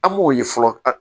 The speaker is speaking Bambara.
An m'o ye fɔlɔ